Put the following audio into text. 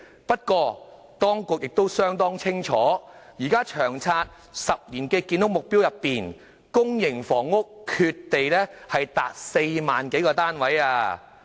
不過，當局亦相當清楚，在現時《長遠房屋策略》的10年建屋目標中，公營房屋缺地達4萬多個單位。